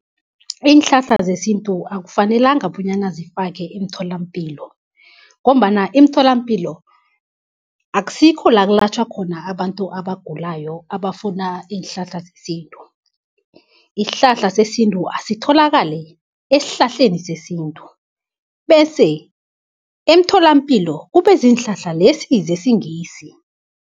Iinhlahla zesintu akufanelanga bonyana zifake emtholampilo, ngombana imitholampilo akusikho la kulatjhwa khona abantu abagulayo abafuna iinhlahla zesintu. Isihlahla sesintu asitholakale esihlahleni sesintu, bese emtholapilo kube ziinhlahla lesi zesingisi.